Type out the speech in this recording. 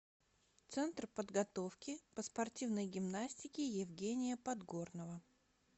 центр подготовки по спортивной гимнастике евгения подгорного